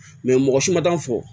mɔgɔ si ma t'an fɔ